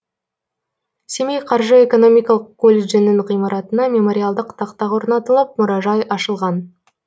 семей қаржы экономикалық колледжінің ғимаратына мемориалдық тақта орнатылып мұражай ашылған